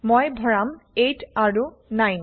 মই ভৰাম 8 160 আৰু 9160